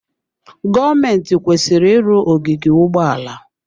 Gọọmentị kwesịrị ịrụ ogige ụgbọala.